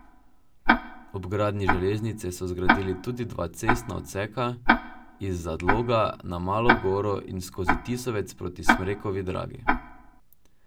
Ob gradnji železnice so zgradili tudi dva cestna odseka, iz Zadloga na Malo goro in skozi Tisovec proti Smrekovi Dragi.